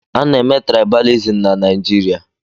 A na-eme traibalism na Naijiria